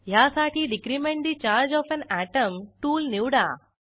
ह्यासाठी decrement the charge of an atom tool निवडा